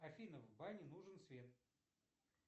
афина в бане нужен свет